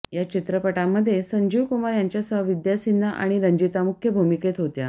या चित्रपटामध्ये संजीव कुमार यांच्यासह विद्या सिन्हा आणि रंजीता मुख्य भूमिकेत होत्या